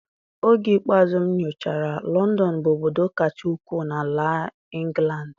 Oge ikpeazụ m nyochara, Lọndọn bụ obodo kacha ukwuu na ala ịngụlandị.